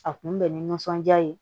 A kun bɛ nisɔnja de